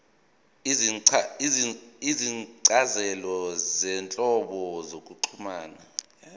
izincazelo zezinhlobo zokuxhumana